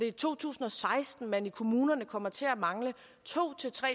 i to tusind og seksten man i kommunerne kommer til at mangle to tre